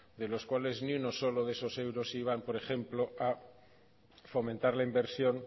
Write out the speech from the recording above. de los cuales ni uno solo de esos euros iban por ejemplo a fomentar la inversión